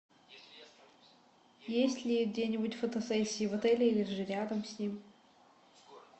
есть ли где нибудь фотосессии в отеле или же рядом с ним